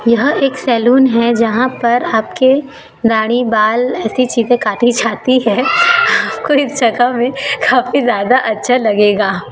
यहां एक सैलून है जहां पर आपकी दाढ़ी बाल ऐसी चीजे काटी जाती हैं आपको इस जगह में काफी ज्यादा अच्छा लगेगा।